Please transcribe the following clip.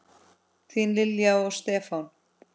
Þín Lilja og Stefán.